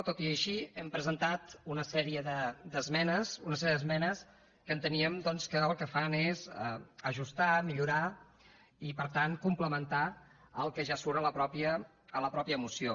tot i així hem presentat una sèrie d’esmenes una sèrie d’esmenes que enteníem doncs que el que fan és ajustar millorar i per tant complementar el que ja surt a la mateixa moció